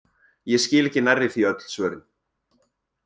Ég skil ekki nærri því öll svörin!